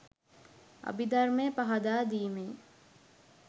අභිධර්මය පහදා දීමේ